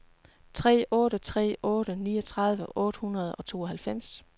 tre otte tre otte niogtredive otte hundrede og tooghalvfems